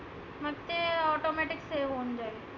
ते automatic save होऊन जाईल.